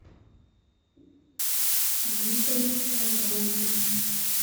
дикая саванна